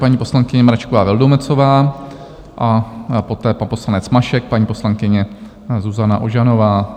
Paní poslankyně Mračková Vildumetzová a poté pan poslanec Mašek, paní poslankyně Zuzana Ožanová.